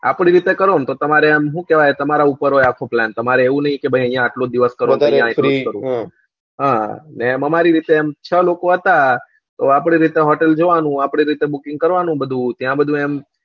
આપડી રીતે કરો ને તો આમ શું કેવાય તમારા ઉપર હોય આખો plan તમારે એવું ની કે ભાઈ આયા આટલું જ અમ અમારી રીતે અમે છ લોકો હતા આપડી રીતે hotel જોવા ની આપડી રીતે booking કરવ વાનું બધું ત્યાં બધું એમ